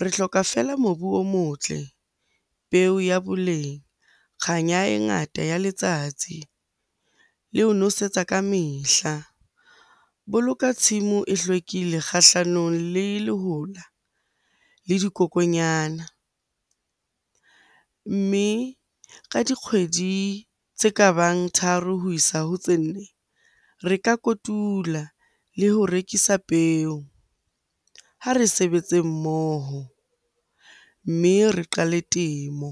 Re hloka fela mobu o motle, peo ya boleng, kganya e ngata ya letsatsi le ho nosetsa ka mehla. Boloka tshimo e hlwekile kgahlanong le lehola le dikokonyana, mme ka dikgwedi tse ka bang tharo ho isa ho tse nne, re ka kotula le ho rekisa peo. Ha re sebetse mmoho, mme re qale temo.